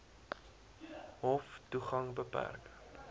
hof toegang beperk